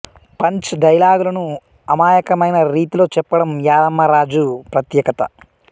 punch డైలాగులను అమాయకమైన రీతిలో చెప్పడం యాదమ్మ రాజు ప్రత్యేకత